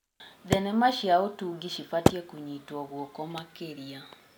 Thenema cia ũtungi cibatiĩ kũnyitwo guoko makĩria.